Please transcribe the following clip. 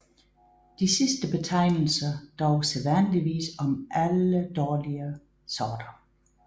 De sidste betegnelser dog sædvanligvis om alle dårligere sorter